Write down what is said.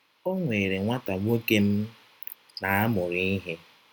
Ọ nwere nwata nwọke m na - amụrụ ihe.